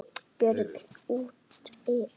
Björn útivið.